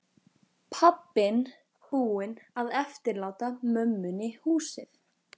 Pabbinn búinn að eftirláta mömmunni húsið.